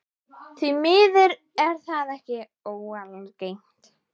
Því miður er það ekki óalgengt.